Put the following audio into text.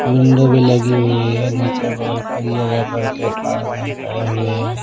Window भी लगी हुई है नीचे वाल पर या रबड़ के पायदान पड़े हुए हैं।